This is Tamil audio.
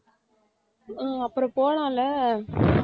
அஹ் அப்புறம் போலாம்ல